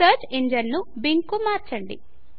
search engine ను Bing కు మార్చండి